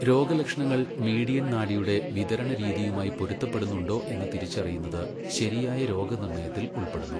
രോഗലക്ഷണങ്ങൾ മീഡിയൻ നാഡിയുടെ വിതരണ രീതിയുമായി പൊരുത്തപ്പെടുന്നുണ്ടോ എന്ന് തിരിച്ചറിയുന്നത് ശരിയായ രോഗനിർണയത്തിൽ ഉൾപ്പെടുന്നു.